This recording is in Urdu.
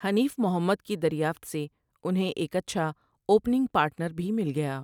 حنیف محمد کی دریافت سے انھیں ایک اچھا اوپننگ پارٹنر بھی مل گیا ۔